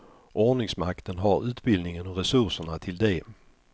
Ordningsmakten har utbildningen och resurserna till det.